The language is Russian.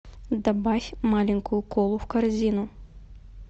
добавь маленькую колу в корзину